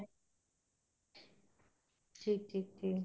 ਠੀਕ ਠੀਕ ਜੀ